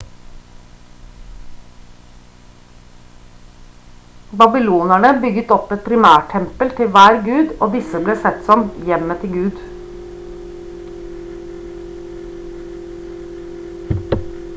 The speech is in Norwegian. babylonerne bygget opp et primærtempel til hver gud og disse ble sett på som hjemmet til gud